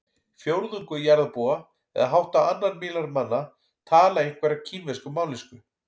Fjórðungur jarðarbúa eða hátt á annan milljarð manna tala einhverja kínverska mállýsku.